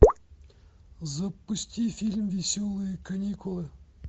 запусти фильм веселые каникулы